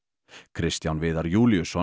Kristján Viðar Júlíusson